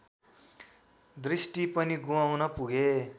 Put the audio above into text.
दृष्टि पनि गुमाउन पुगे